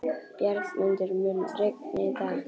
Bjargmundur, mun rigna í dag?